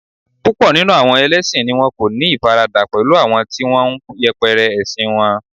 púpò nínú àwọn ẹlẹsin ni won ko ni ifarada pẹlú àwọn ti won n yẹpẹrẹ ẹsin won